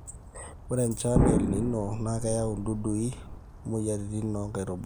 ore enchan e elnino na keyau dudui o moyiaritin oo nkaitubulu